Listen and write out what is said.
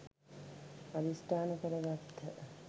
අධිෂ්ඨාන කර ගත්හ.